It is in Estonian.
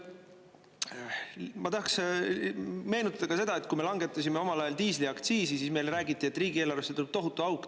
Ma tahaks meenutada seda, et kui me langetasime omal ajal diisliaktsiisi, siis räägiti, et riigieelarvesse tuleb tohutu auk.